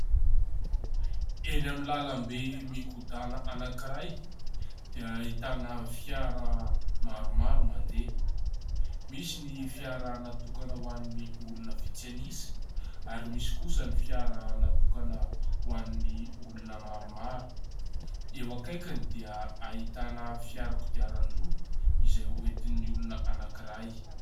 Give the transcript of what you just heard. Eny amin'ny lalam-be migodàna anankiray dia ahitana fiara maromaro mandeha. Misy ny fiara natokana ho an'ny olona vitsy anisa ary misy kosa ny fiara natokana ho an'ny olona maromaro. Eo akaikiny dia ahitana fiara kodiaran-droa izay oentin'ny olona anankiray.